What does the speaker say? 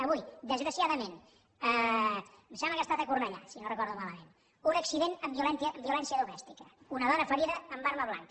avui desgraciadament em sembla que ha estat a cornellà si no ho recordo malament un accident amb violència domèstica una dona ferida amb arma blanca